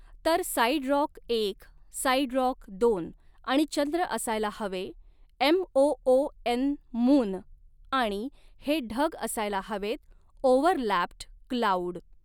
तर side rock एक side rock दोन आणि चंद्र असायला हवे M O O N moon आणि हे ढग असायला हवेत ओव्हरलॅप्ड क्लाऊड.